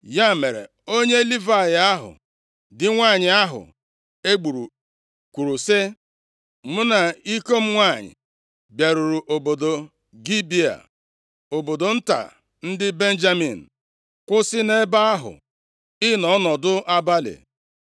Ya mere, onye Livayị ahụ, di nwanyị ahụ e gburu kwuru sị, “Mụ na iko m nwanyị bịaruru obodo Gibea, obodo nta ndị Benjamin, kwụsị nʼebe ahụ ịnọ ọnọdụ abalị.